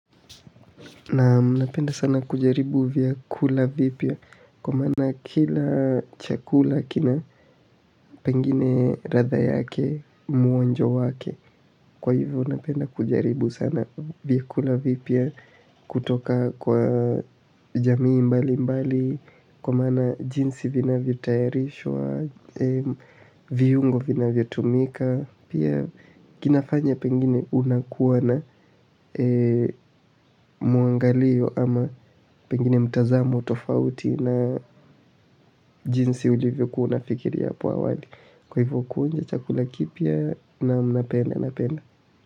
Naam, napenda sana kujaribu vyakula vipya kwa maana kila chakula kina pengine ladha yake mwonjo wake. Kwa hivyo napenda kujaribu sana vyakula vipya kutoka kwa jamii mbalimbali kwa maana jinsi vinavyotayarishwa, viungo vinavyotumika, pia kinafanya pengine unakuwa na mwangalio ama pengine mtazamo tofauti na jinsi ulivyo kuwa unafikiria hapo awali. Kwa hivyo kuonja chakula kipya naam, napenda napenda.